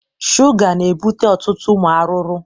Shuga na ebute ọtụtụ ụmụ aruru